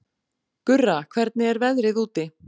Gurra, hvernig er veðrið úti?